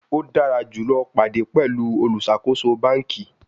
O dara julọ pade pẹlu oluṣakoso banki